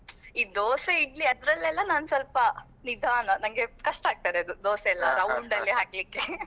ಈ dosa idli ಅದ್ರಲ್ಲೆಲ್ಲಾ ನಾನ್ ಸ್ವಲ್ಪ ನಿಧಾನ ನಂಗೆ ಕಷ್ಟ ಆಗ್ತದೆ ಅದು dosa ಯೆಲ್ಲಾ round ಅಲ್ಲಿ ಹಾಕ್ಲಿಕ್ಕೆ.